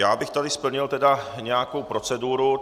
Já bych tady splnil tedy nějakou proceduru.